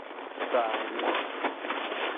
дае